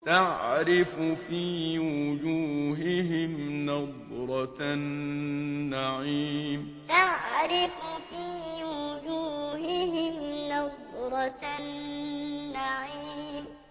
تَعْرِفُ فِي وُجُوهِهِمْ نَضْرَةَ النَّعِيمِ تَعْرِفُ فِي وُجُوهِهِمْ نَضْرَةَ النَّعِيمِ